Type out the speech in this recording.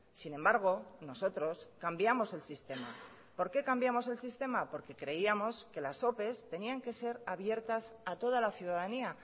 sin embargo nosotros cambiamos el sistema por qué cambiamos el sistema porque creíamos que las opes tenían que ser abiertas a toda la ciudadanía